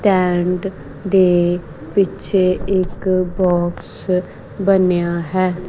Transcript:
Tent ਦੇ ਪਿੱਛੇ ਇੱਕ ਬੌਕਸ ਬਣਿਆ ਹੈ।